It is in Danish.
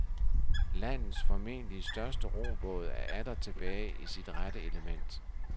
Landets formentlig største robåd er atter tilbage i sit rette element.